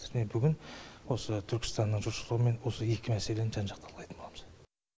міне бүгін осы түркістанның жұртшылығымен осы екі мәселені жан жақты талқылайтын боламыз